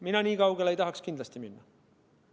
Mina nii kaugele kindlasti minna ei tahaks.